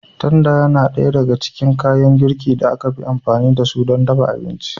Tanda yana ɗaya daga cikin kayan girkin da ake amfani da su don dafa abinci.